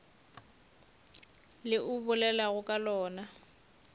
le o bolelago ka lona